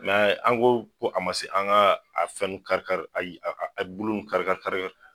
an ko, ko a ma se an ga a fɛn nun kari kari a bulu nun kari kari